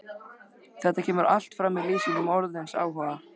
Þetta kemur allt fram í lýsingu orðsins áhugi